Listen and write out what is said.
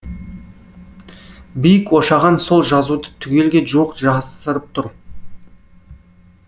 биік ошаған сол жазуды түгелге жуық жасырып тұр